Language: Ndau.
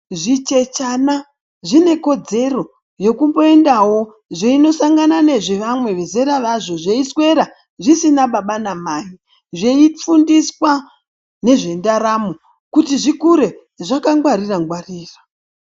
Zvichechena zvine kodzero yekumboendawo zveindosangana nezvezera razvo zvisina baba namai. Zveifundiswa nezvendaramo kuti zvikure zvakangwarira ngwarira.